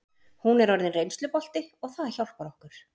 Hún er orðin reynslubolti og það hjálpar okkur.